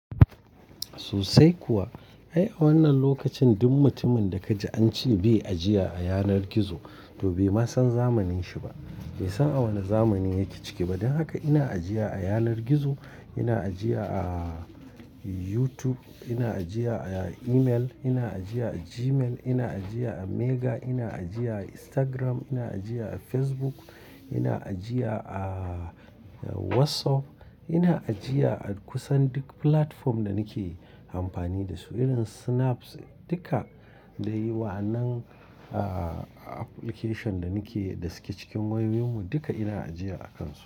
Sosai kuwa. Ai a wannan lokacin duk mutumin da ka ji an ce bai ajiye a yanar gizo, to bai ma san zamanin shi ba. Bai san a wane zamani yake ciki ba. Don haka ina ajiya a yanar gizo, ina ajiya a YouTube, ina ajiya a email, ina ajiya a Gmail, ina ajiya a Mega, ina ajiya a Instagram, ina ajiya a Facebook, ina ajiya a WhatsApp, ina ajiya a kusan duk platform da nake amfani da su irin Snap duka. Eh wa yan nan application da nake da suke cikin wayoyinmu duka ina ajiya a kansu.